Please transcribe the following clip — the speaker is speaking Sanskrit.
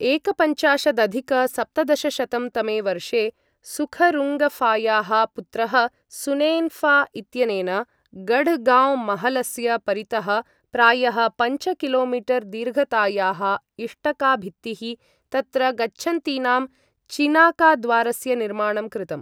एकपञ्चाशदधिक सप्तदशशतं तमे वर्षे सुखरुङ्गफायाः पुत्रः सुनेन्फा इत्यनेन गढगांव महलस्य परितः प्रायः पञ्च किलोमीटर् दीर्घतायाः इष्टकाभित्तिः, तत्र गच्छन्तीनां चिनाकारद्वारस्य निर्माणं कृतम् ।